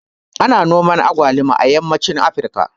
Ana noman agwaluma a yammacin Afrika